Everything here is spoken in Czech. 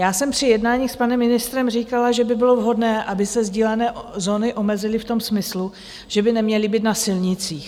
Já jsem při jednání s panem ministrem říkala, že by bylo vhodné, aby se sdílené zóny omezily v tom smyslu, že by neměly být na silnicích.